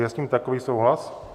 Je s tím takový souhlas?